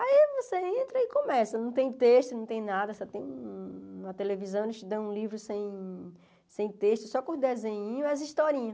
Aí você entra e começa, não tem texto, não tem nada, só tem uma uma televisão, eles te dão um livro sem texto, só com desenhinho e as historinhas.